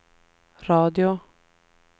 radio